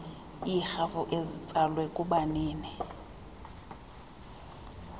iirhafu ezitsalwe kubanini